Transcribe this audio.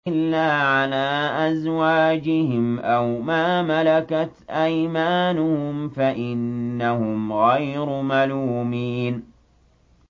إِلَّا عَلَىٰ أَزْوَاجِهِمْ أَوْ مَا مَلَكَتْ أَيْمَانُهُمْ فَإِنَّهُمْ غَيْرُ مَلُومِينَ